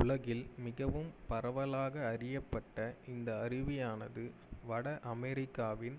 உலகில் மிகவும் பரவலாக அறியப்பட்ட இந்த அருவியானது வட அமெரிக்காவின்